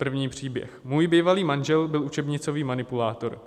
První příběh: "Můj bývalý manžel byl učebnicový manipulátor.